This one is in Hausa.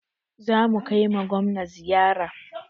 Za mu kai ma Gwamna ziyara.